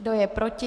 Kdo je proti?